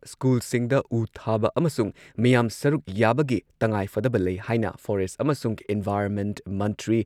ꯁ꯭ꯀꯨꯜꯁꯤꯡꯗ ꯎ ꯊꯥꯕ ꯑꯃꯁꯨꯡ ꯃꯤꯌꯥꯝ ꯁꯔꯨꯛ ꯌꯥꯕꯒꯤ ꯇꯉꯥꯏꯐꯗꯕ ꯂꯩ ꯍꯥꯏꯅ ꯐꯣꯔꯦꯁꯠ ꯑꯃꯁꯨꯡ ꯏꯟꯚꯥꯏꯔꯟꯃꯦꯟꯠ ꯃꯟꯇ꯭ꯔꯤ